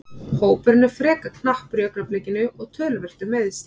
Hópurinn er frekar knappur í augnablikinu og töluvert um meiðsl.